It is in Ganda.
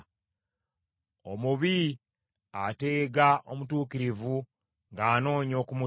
Omubi ateega omutuukirivu ng’anoonya okumutta,